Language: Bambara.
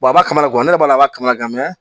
a b'a kalama ne b'a kalama